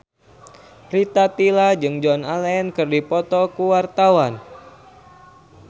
Rita Tila jeung Joan Allen keur dipoto ku wartawan